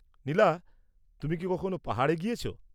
নীলা, তুমি কি কখনো পাহাড়ে গিয়েছ?